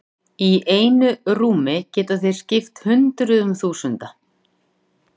Í einu rúmi geta þeir skipt hundruðum þúsunda.